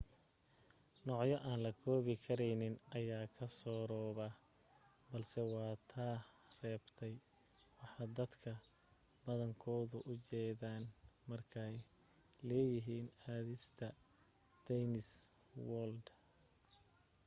noocyo aan la koobi karayn ayaa ka surooba balse waa ta reebtay waxa dadka badankoodu u jeedaan markay leeyihiin aadista disney world